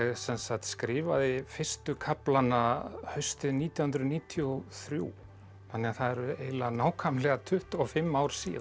skrifaði fyrstu kaflana haustið nítján hundruð níutíu og þrjú þannig að það eru eiginlega nákvæmlega tuttugu og fimm ár síðan